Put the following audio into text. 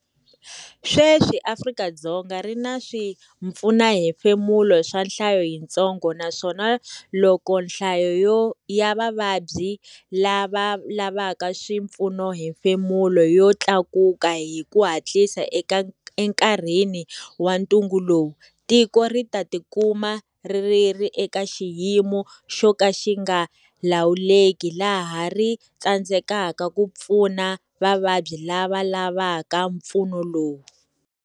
Sweswi Afrika-Dzonga ri na swipfunohefemulo swa nhlayo yintsongo naswona loko nhlayo ya vavabyi lava lavaka swipfunohefemulo yo tlakuka hi ku hatlisa enkarhini wa ntungu lowu, tiko ri ta tikuma ri ri eka xiyimo xo ka xi nga lawuleki laha ri tsandzekaka ku pfuna vavabyi lava lavaka mpfuno lowu.